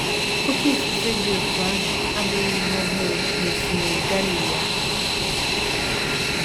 Oké ifufe dị otú ahụ abụghị ihe ọhụrụ n’Osimiri Galili ahụ.